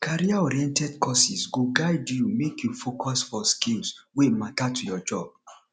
careeroriented courses go guide you make you focus for skills wey matter to your job